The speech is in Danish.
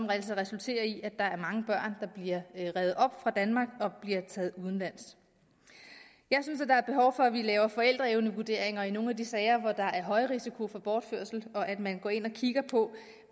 altså resulterer i at der er mange børn der bliver revet op fra danmark og bliver taget udenlands jeg synes at der er behov for at vi laver forældreevnevurderinger i nogle af de sager hvor der er høj risiko for bortførelse og at man går ind og kigger på